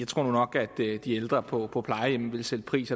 tror nu nok at de ældre på på plejehjemmene vil sætte pris